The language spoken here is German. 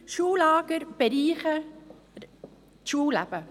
Schullager bereichern das Schulleben.